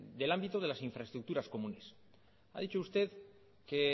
del ámbito de las infraestructuras comunes ha dicho usted que